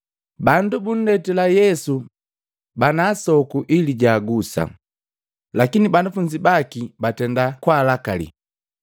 Bandu bundetila Yesu bana asoku ili jaagusa, lakini banafunzi baki batenda kalakalii.